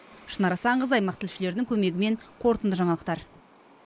шынар асанқызы аймақ тілшілерінің көмегімен қорытынды жаңалықтар